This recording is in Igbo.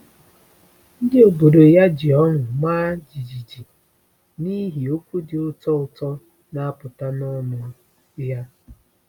Ndị obodo ya ji ọṅụ maa jijiji “n’ihi okwu dị ụtọ ụtọ na-apụta n’ọnụ ya.”